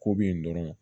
Ko bɛ yen dɔrɔn